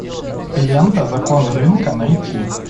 лента закон рынка найти